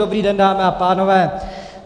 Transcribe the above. Dobrý den, dámy a pánové.